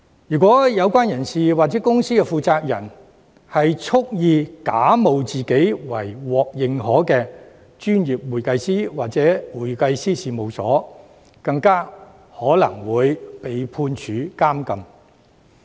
如果有關人士或公司的負責人蓄意假冒自己為獲認可的專業會計師或會計師事務所，更有可能會被判處監禁。